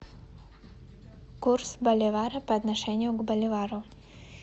курс боливара по отношению к боливару